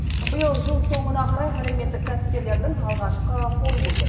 биыл жыл соңына қарай әлеуметтік кәсіпкерлердің алғашқы форумы өтеді